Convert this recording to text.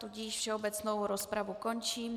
Tudíž všeobecnou rozpravu končím.